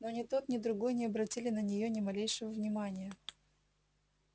но ни тот ни другой не обратили на нее ни малейшего внимания